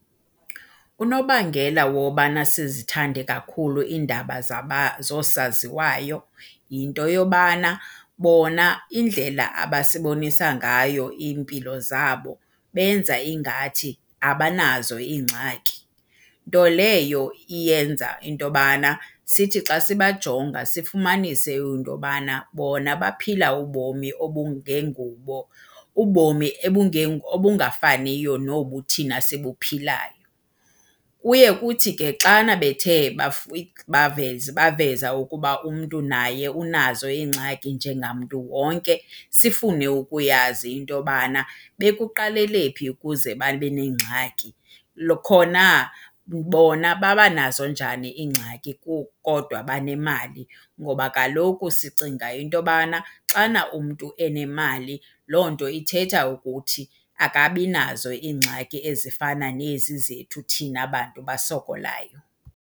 Unobangela wobana sizithande kakhulu iindaba zosaziwayo yinto yobana bona indlela abasibonisa ngayo iimpilo zabo benza ingathi abanazo iingxaki. Nto leyo iyenza into yobana sithi xa sibajonga sifumanise into yobana bona baphila ubomi obungengubo, ubomi obungafaniyo nobu thina sibuphilayo. Kuye kuthi ke xana bethe baveza ukuba umntu naye unazo iingxaki njengamntu wonke sifune ukuyazi into yobana bekuqalelephi ukuze babe neengxaki. Khona, bona babanazo njani iingxaki kukodwa banemali? Ngoba kaloku sicinga into yobana xana umntu enemali loo nto ithetha ukuthi akabinazo iingxaki ezifana nezi zethu thina bantu basokolayo.